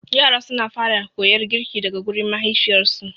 Yara suna fara koyar girki daga gurin mahaifiyarsu.